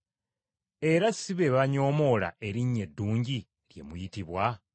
Era si be banyoomoola erinnya eddungi lye muyitibwa?